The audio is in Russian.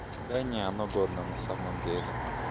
да нет оно годно на самом деле